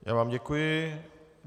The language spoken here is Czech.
Já vám děkuji.